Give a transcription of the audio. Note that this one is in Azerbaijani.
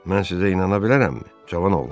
Mən sizə inana bilərəmmi, cavan oğlan?